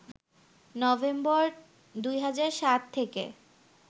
November ২০০৭ থেকে